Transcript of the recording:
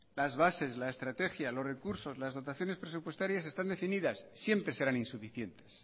las bases la estrategia los recursos las dotaciones presupuestarias están definidas siempre serán insuficientes